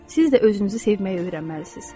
Siz də özünüzü sevməyi öyrənməlisiniz.